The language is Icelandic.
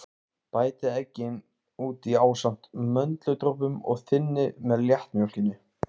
Á vörum myndast flöguþekjukrabbamein venjulega út frá ertingu.